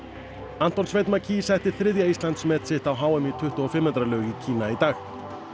Anton Sveinn setti þriðja Íslandsmet sitt á h m í tuttugu og fimm metra laug í Kína í dag